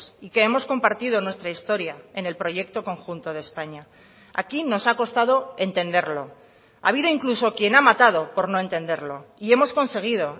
y que hemos compartido nuestra historia en el proyecto conjunto de españa aquí nos ha costado entenderlo ha habido incluso quien ha matado por no entenderlo y hemos conseguido